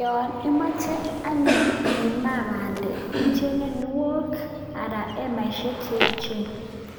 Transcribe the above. Yon imoche anyun imaa bandek, ichenge kuniok anan hemaishek che echen